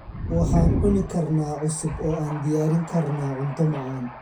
Waxaan cuni karnaa cusub oo aan diyaarin karnaa cunto macaan.